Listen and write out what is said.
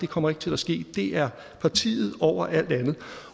kommer til at ske det er partiet over alt andet